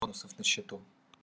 бонусов на счету